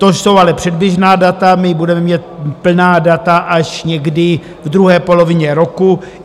To jsou ale předběžná data, my budeme mít plná data až někdy v druhé polovině roku.